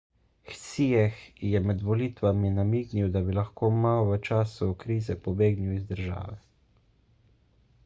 hsieh je med volitvami namignil da bi lahko ma v času krize pobegnil iz države